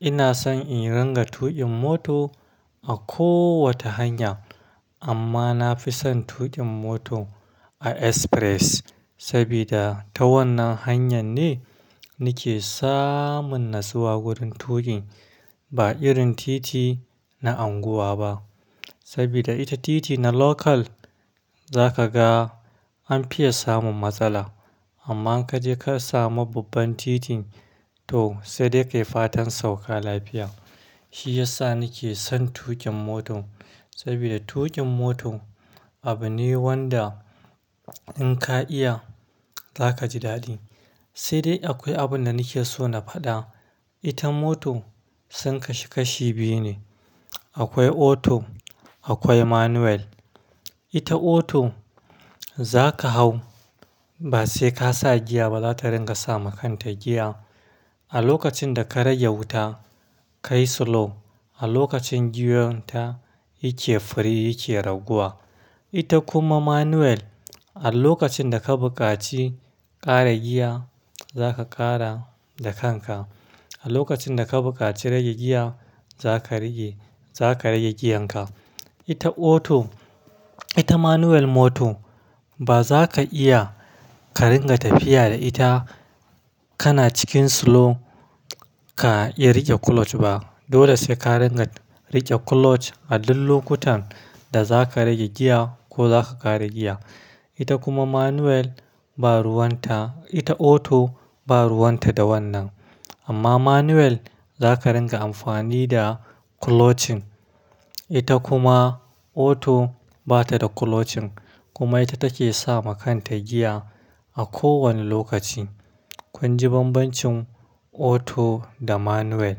Ina son in ringa tuƙin moto a kowace hanya amma na fi son tuƙin moto a express. Saboda ta wannan hanyar ne nake samun natsuwa wurin tuƙin ba irin titi na unguwa ba. Saboda ita titi na local za ka ga an fiya samun matsala amma kaje ka samu babban titin to sai dai kai fatan sauka lafiya. Shi ya sa nake son tuƙin mota saboda tuƙin moto abu ne wanda in ka iya za ka ji daɗi. Sai dai akwai abun da nake so na faɗa. Ita moto sun kasu kashi biyu ne. Akwai auto akwai manual. Ita auto za ka hau ba sai ka sa giya ba za ta ringa sa ma kanta giya. A lokacin da ka rage wuta, ka yi slow a lokacin giyar ta yake firi yake raguwa. Ita kuma manual a lokacin da ka bukaci kara giya za ka kara da kanka. A lokacin da ka bukaci rage giya za ka rage, za ka rage giyan ka. Ita auto, ita manual moto baza ka iya ka ringa tafiya da ita kana cikin slow, ka iya rage clutch ba. Dole sai ka ringa rage clutch a duk lokutan da za ka rage giya ko za ka kara giya. Ita kuma manual ba ruwan ta, ita auto ba ruwan ta da wannan. Amma manual za ka ringa amfani da clutching. Ita kuma auto bata da clutching kuma ita take sama kanta giya a kowane lokaci. Kun ji banbancin auto da manual.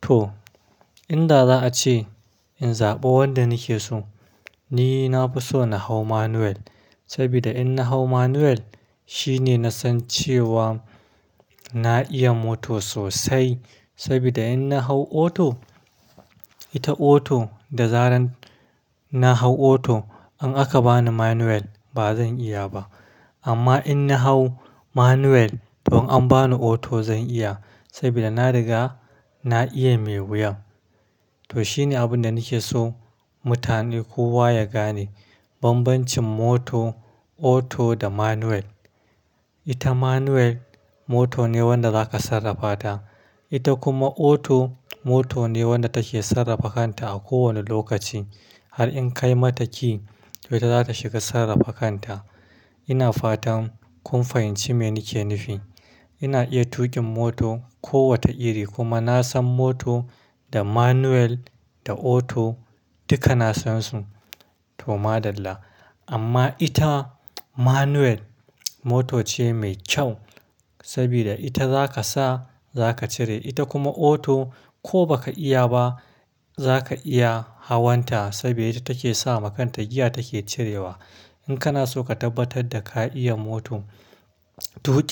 To inda za a ce in zaɓa wanda nake so, ni na fi so na hau manual. Saboda in na hau manual shine na san cewa na iya moto sosai. Saboda in na hau auto, ita auto da zaran na hau auto in aka bani manual ba zan iya ba. Amma in na hau manual to in an bani auto zan iya saboda na riga na iya mai wuyan. To shine abin da nake so mutane kowa ya gane banbancin moto auto da manual. Ita manual moto ne wanda za ka sarrafa ta. Ita kuma auto moto ne wanda take sarrafa kanta a kowane lokaci. Har in kai mata ki to ita za ta shiga sarrafa kanta. Ina fatan kun fahimci me nake nufi. Ina iya tuƙin moto kowace iri kuma na san moto da manual da auto duka na san su. To maɗalla. Amma ita manual moto ce mai kyau saboda ita za ka sa za ka cire. Ita kuma auto ko baka iya ba za ka iya hawan ta saboda ita take sa ma kanta giya take cirewa. In kana so ka tabbatar da ka iya moto tuƙi-